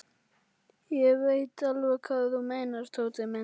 Ég veit alveg hvað þú meinar, Tóti minn.